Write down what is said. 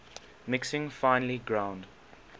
mixing finely ground